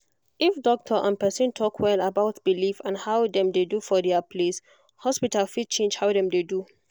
if doctor and person talk well about belief and how dem dey do for dia place hospital fit change how dem dey do